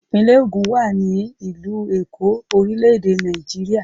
Ìpínlẹ̀ Ògùn wà ní ìlú Èkó, orílẹ̀-èdè Nàìjíríà.